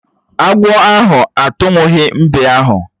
Agwọ ahụ atuwughi mbe ahụ